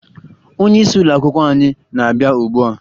Onyeisi ụlọakwụkwọ anyị na-abịa ugbua